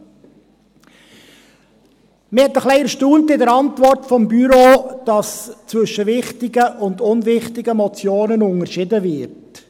An der Antwort des Büros hat mich ein wenig erstaunt, dass zwischen wichtigen und unwichtigen Motionen unterschieden wird.